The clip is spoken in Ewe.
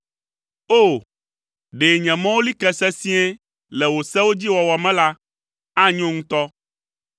O! Ɖe nye mɔwo li ke sesĩe le wò sewo dzi wɔwɔ me la, anyo ŋutɔ.